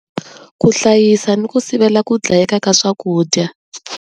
Ku hlayisa ni ku sivela ku dlayeka ka swakudya.